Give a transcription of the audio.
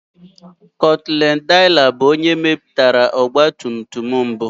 Gottlieb Daimler bụ onye mepụtara ọgbatumtum mbụ.